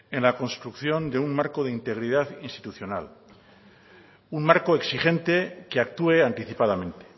en la construcción de un marco de integridad institucional un marco exigente que actúe anticipadamente